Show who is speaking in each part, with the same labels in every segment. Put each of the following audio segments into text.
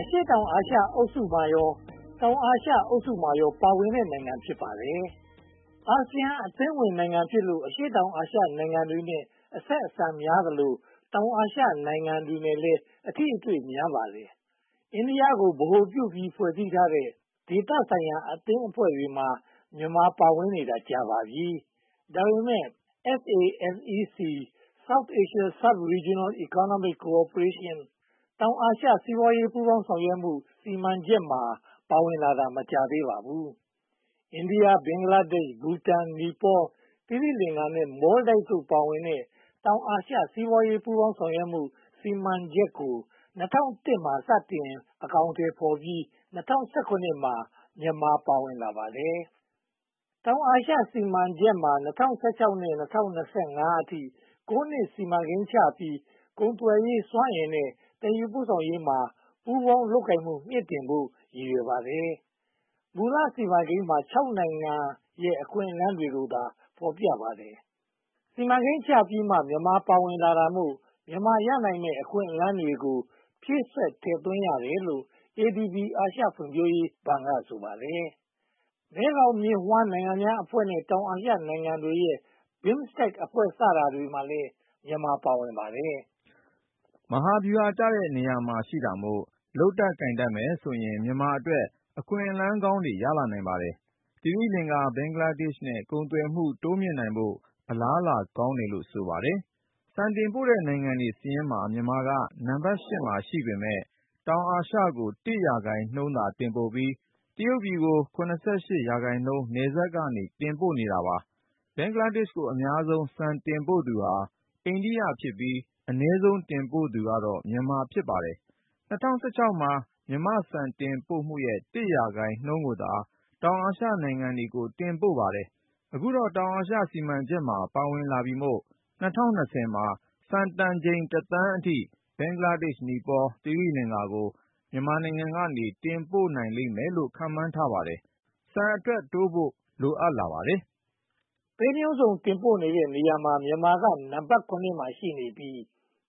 Speaker 1: အရှေ့တောင်အာရှအုပ်စုနှင့် တောင်အာရှအုပ်စုမှာပါ ပါဝင်တဲ့နိုင်ငံ ဖြစ်ပါတယ်။ အာဆီယံအသင်းဝင်နိုင်ငံဖြစ်လို့ အရှေ့တောင်အာရှနိုင်ငံတွေနဲ့ အဆက်အဆံများသလို၊ တောင်အာရှနိုင်ငံများနဲ့လည်း အထိအတွေ့များပါတယ်။ အိန္ဒိယကို ဗဟိုပြုပြီး ဖွဲ့စည်းထားတဲ့ ဒေသဆိုင်ရာအသင်းအဖွဲ့တွေမှာ မြန်မာပါဝင်နေတာ ကြာပါပြီ။ ဒါပေမဲ့ SASEC-South Asia Subregional Economic Cooperation တောင်အာရှ စီးပွားရေးပူးပေါင်းဆောင်ရွက်မှု စီမံချက်မှာ ပါဝင်လာတာ မကြာသေးပါဘူး။ အိန္ဒိယ၊ ဘင်္ဂလားဒေ့ရှ်၊ ဘူတန်၊ နီပေါ၊ သီရိလင်္ကာနဲ့ မော်လ်ဒိုက်ဗ် ပါဝင်တဲ့ တောင်အာရှ စီးပွားရေးပူးပေါင်းဆောင်ရွက်မှု စီမံချက်ကို (၂၀၀၁) မှာ စတင်အကောင်အထည်ဖော်ပြီး (၂၀၁၇) မှာ မြန်မာပါဝင်လာတာ ဖြစ်ပါတယ်။ တောင်အာရှစီမံချက်မှာ ၂၀၁၆ ကနေ ၂၀၂၅ အထိ (၉) နှစ် စီမံကိန်းချပြီး ကုန်သွယ်ရေး၊ စွမ်းအင်နဲ့ သယ်ယူပို့ဆောင်ရေးမှာ ပူးပေါင်းလုပ်ကိုင်မှု မြှင့်တင်ဖို့ ရည်ရွယ်ပါတယ်။ မူလစီမံကိန်းမှာ (၆) နိုင်ငံရဲ့ အခွင့်အလမ်းတွေကိုသာ ဖော်ပြပါတယ်။ စီမံကိန်းချပြီးမှ မြန်မာပါဝင်လာတာမို့ မြန်မာရနိုင်မယ့် အခွင့်အလမ်းတွေကို ဖြည့်စွက်ထည့်သွင်းရတယ်လို့ ADB အာရှဖွံ့ဖြိုးရေးဘဏ်က ဆိုပါတယ်။ မဲဂေါင်မြစ်ဝှမ်းနိုင်ငံများအဖွဲ့နဲ့ တောင်အာရှနိုင်ငံတွေရဲ့ BIMSTEC အဖွဲ့တွေမှာလည်း မြန်မာ ပါဝင်ပါတယ်။
Speaker 2: မဟာဗျူဟာကျတဲ့ နေရာမှာရှိတာမို့ လုပ်တတ်ကိုင်တတ်မယ်ဆိုရင် မြန်မာအတွက် အခွင့်အလမ်းကောင်းတွေ ရလာနိုင်ပါတယ်။ သီရိလင်္ကာ၊ ဘင်္ဂလားဒေ့ရှ်တို့နဲ့ ကုန်သွယ်မှု တိုးမြှင့်နိုင်ဖို့ အလားအလာကောင်းတယ်လို့ ဆိုပါတယ်။ ဆန်တင်ပို့တဲ့ နိုင်ငံစာရင်းမှာ မြန်မာက နံပတ် (၈) နေရာမှာ ရှိပေမယ့် တောင်အာရှကို (၁) ရာခိုင်နှုန်းသာ တင်ပို့ပြီး တရုတ်ပြည်ကို (၇၈) ရာခိုင်နှုန်း နယ်စပ်က တင်ပို့ပါတယ်။ ဘင်္ဂလားဒေ့ရှ်ကို အများဆုံးဆန်တင်ပို့သူဟာ အိန္ဒိယဖြစ်ပြီး၊ အနည်းဆုံး တင်ပို့သူက မြန်မာ ဖြစ်ပါတယ်။ ၂၀၁၆ မှာ မြန်မာ့ဆန်တင်ပို့မှုရဲ့ (၁) ရာခိုင်နှုန်းကိုသာ တောင်အာရှနိုင်ငံတွေကို တင်ပို့ပါတယ်။ အခုတော့ တောင်အာရှ စီမံချက်မှာ ပါဝင်လာပြီမို့ ၂၀၂၀ မှာ ဆန်တန်ချိန် (၁) သန်းအထိ ဘင်္ဂလားဒေ့ရှ်၊ နီပေါနဲ့ သီရိလင်္ကာတို့ကို မြန်မာက တင်ပို့နိုင်လိမ့်မယ်လို့ ခန့်မှန်းပါတယ်။ ဆန်အထွက်နှုန်းတိုးဖို့ လိုအပ်လာပါတယ်
Speaker 1: ။ ပဲမျိုးစုံတင်ပို့တဲ့နေရာမှာ မြန်မာကနံပတ် (၇) ရှိနေပြီး၊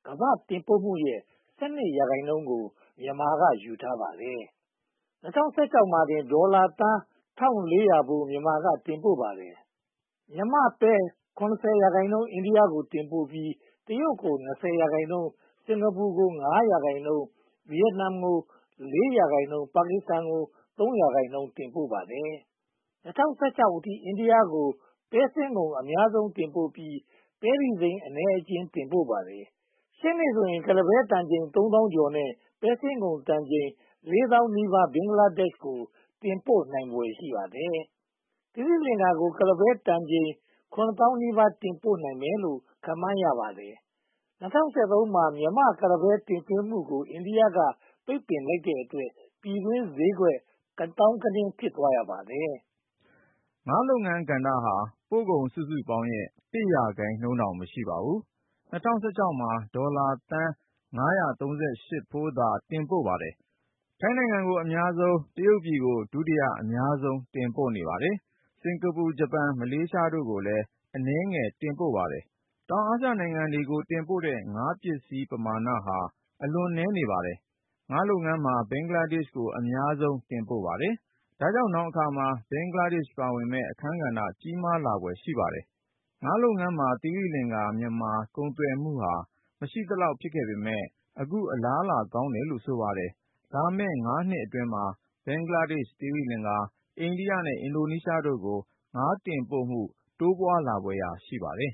Speaker 1: ကမ္ဘာ့တင်ပို့မှုရဲ့ (၁၂) ရာခိုင်နှုန်းကို မြန်မာက ယူထားပါတယ်။ ၂၀၁၆ မှာတင် ဒေါ်လာသန်း (၁၃၉၀) ဖိုး မြန်မာက တင်ပို့ပါတယ်။ မြန်မာ့ပဲ (၆၈) ရာခိုင်နှုန်း အိန္ဒိယကို တင်ပို့ပြီး တရုတ်ကို (၂၀) ရာခိုင်နှုန်း၊ စင်္ကာပူကို (၅) ရာခိုင်နှုန်း၊ ဗိယက်နမ်ကို (၄) ရာခိုင်နှုန်း၊ ပါကစ္စတန်ကို (၃) ရာခိုင်နှုန်း တင်ပို့ပါတယ်။ ၂၀၁၆ အထိ အိန္ဒိယကို ပဲစင်းငုံ (၈၂) ရာခိုင်နှုန်း အများဆုံးတင်ပို့ပြီး ပဲတီစိမ်း (၅) ရာခိုင်နှုန်း အနည်းအကျဉ်း တင်ပို့ပါတယ်။ ရှေ့နှစ်ဆိုရင် ကုလားပဲတန်ချိန် (၃၁၁၂၄) နဲ့ ပဲစင်းငုံတန်ချိန် (၃၇၁၈၈) ဘင်္ဂလားဒေ့ရှ်ကို တင်ပို့နိုင်ဖွယ် ရှိပါတယ်။ သီရိလင်္ကာကို ကုလားပဲတန်ချိန် (၆၅၅၀၀) တင်ပို့နိုင်မယ်လို့ ခန့်မှန်းပါတယ်။ ၂၀၁၃ မှာ မြန်မာ့ကုလားပဲ တင်သွင်းမှုကို အိန္ဒိယက ပိတ်ပင်လိုက်တဲ့အတွက် ပြည်တွင်းပဲဈေးကွက် ကသောင်းကနင်း ဖြစ်သွားခဲ့ပါတယ်
Speaker 2: ။ ငါးလုပ်ငန်းကဏ္ဍဟာ ပို့ကုန်စုစုပေါင်းရဲ့ (၁) ရာခိုင်နှုန်းတောင် မရှိပါဘူး။ ၂၀၁၆ မှာ ဒေါ်လာသန်း (၅၃၈) ဖိုးသာ တင်ပို့ပါတယ်။ ထိုင်းနိုင်ငံကို အများဆုံး (၄၆) ရာခိုင်နှုန်း၊ တရုတ်ပြည်ကို ဒုတိယအများဆုံး (၃၅) ရာခိုင်နှုန်း တင်ပို့ပါတယ်။ စင်္ကာပူ (၁၀) ရာခိုင်နှုန်း၊ ဂျပန် (၅) ရာခိုင်နှုန်း၊ မလေးရှား (၄) ရာခိုင်နှုန်း အနည်းငယ်တင်ပို့ပါတယ်။ တောင်အာရှနိုင်ငံတွေကို တင်ပို့တဲ့ ငါးပစ္စည်းပမာဏဟာ အလွန်နည်း (၂) ရာခိုင်နှုန်းသာ ရှိပါတယ်။ ငါးလုပ်ငန်းမှာ ဘင်္ဂလားဒေ့ရှ်ကို အများဆုံးတင်ပို့ပါတယ်။ ဒါကြောင့် နောင်အခါမှာ ဘင်္ဂလားဒေ့ရှ် ပါဝင်မယ့် အခန်းကဏ္ဍ ကြီးမားလာဖွယ် ရှိပါတယ်။ ငါးလုပ်ငန်းမှာ သီရိလင်္ကာ-မြန်မာ ကုန်သွယ်မှုဟာ မရှိသလောက် ဖြစ်ခဲ့ပေမယ့် အခုအလားအလာကောင်းတယ်လို့ ဆိုပါတယ်။ လာမယ့် ငါးနှစ်အတွင်းမှာ ဘင်္ဂလားဒေ့ရှ်၊ သီရိလင်္ကာ၊ အိန္ဒိယနဲ့ အင်ဒိုနီးရှားတို့ကို ငါးတင်ပို့မှု တိုးပွားလာဖွယ် ရှိပါတယ်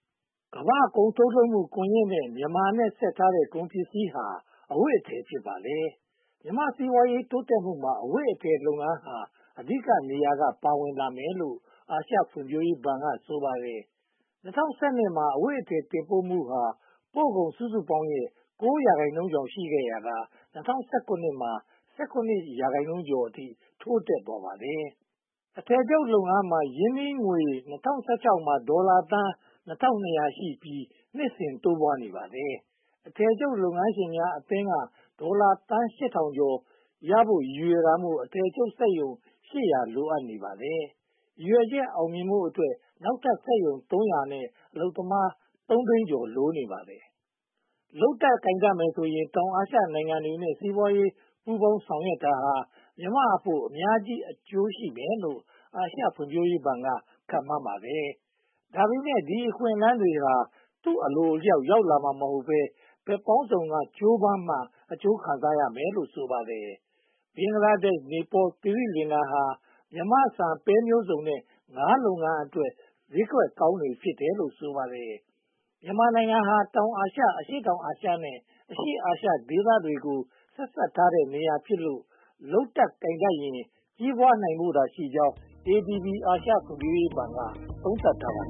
Speaker 2: ။ ကမ္ဘာ့ကုန်ထုတ်လုပ်မ
Speaker 1: ှု ကွန်ရက်ကို မြန်မာနဲ့ဆက်ထားတဲ့ ကုန်ပစ္စည်းဟာ အဝတ်အထည် ဖြစ်ပါတယ်။ မြန်မာ့စီးပွားရေး တိုးတက်မှုမှာ အဝတ်အထည်လုပ်ငန်းဟာ အဓိကနေရာက ပါဝင်လာမယ်လို့ အာရှဖွံ့ဖြိုးရေးဘဏ်က ဆိုပါတယ်။ ၂၀၁၂ မှာ အဝတ်အထည် တင်ပို့မှုဟာ ပို့ကုန်စုစုပေါင်းရဲ့ (၉) ရာခိုင်နှုန်းကျော် ရှိခဲ့ရာက ၂၀၁၇ မှာ (၁၇) ရာခိုင်နှုန်းအထိ တိုးတက်သွားပါတယ်။ အထည်ချုပ်လုပ်ငန်းမှာ ရင်းနှီးငွေ ၂၀၁၆ မှာ ဒေါ်လာသန်း (၂၂၀၀) ရှိပြီး နှစ်စဉ်တိုးပွားနေပါတယ်။ အထည်ချုပ်လုပ်ငန်းရှင်များအသင်းက ဒေါ်လာသန်း (၈၀၀၀) ကျော်ရဖို့ ရည်ရွယ်တာမို့ အထည်ချုပ်စက်ရုံ (၈၀၀) လိုနေပါတယ်။ ရည်ရွယ်ချက် အောင်မြင်ဖို့အတွက် နောက်ထပ်စက်ရုံ (၃၀၀) နဲ့ အလုပ်သမား (၃) သိန်းကျော် လိုနေပါတယ်။ လုပ်တတ်ကိုင်တတ်မယ်ဆိုရင် တောင်အာရှနိုင်ငံတွေနဲ့ စီးပွားရေးပူးပေါင်းဆောင်ရွက်ရာမှာ မြန်မာအဖို့ အများကြီးအကျိုးရှိမယ်လို့ အာရှဖွံ့ဖြိုးရေးဘဏ်က ခန့်မှန်းပါတယ်။ ဒါပေမဲ့ ဒီအခွင့်အလမ်းတွေဟာ သူ့အလိုအလျောက် ရောက်လာမှာမဟုတ်ဘဲ၊ ဘက်ပေါင်းစုံက ကြိုးပမ်းမှ အကျိုးခံစားမယ်လို့ ဆိုပါတယ်။ ဘင်္ဂလားဒေ့ရှ်၊ နီပေါနဲ့ သီရိလင်္ကာတို့ဟာ မြန်မာဆန်၊ ပဲမျိုးစုံနဲ့ ငါးလုပ်ငန်းအတွက် ဈေးကွက်ကောင်းတွေ ဖြစ်တယ်လို့ ဆိုပါတယ်။ မြန်မာနိုင်ငံဟာ တောင်အာရှ၊ အရှေ့တောင်အာရှနဲ့ အရှေ့အာရှဒေသတွေကို ဆက်စပ်ထားတဲ့နေရာဖြစ်လို့ လုပ်တတ်ကိုင်တတ်ရင် ကြီးပွားဖို့သာရှိကြောင်း ADB အာရှဖွံ့ဖြိုးရေးဘဏ်က သုံးသပ်ထားပါတ